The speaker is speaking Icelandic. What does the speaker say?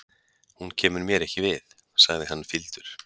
Hún kemur mér ekki við, sagði hann fýldur.